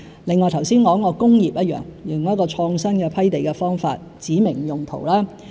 另外，剛才提及的工業也一樣，用創新批地方法指明用途。